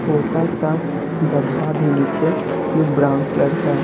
फोटा सा डब्बा भी नीचे जो ब्राउन कलर का है।